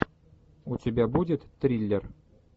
у тебя будет триллер